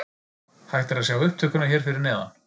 Hægt er að sjá upptökuna hér fyrir neðan.